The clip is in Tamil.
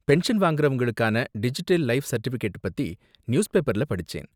பென்ஷன் வாங்கறவங்களுக்கான டிஜிட்டல் லைஃப் சர்டிஃபிகேட்ட பத்தி நியூஸ்பேப்பர்ல படிச்சேன்.